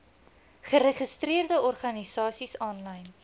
geregistreerde organisasies aanlyn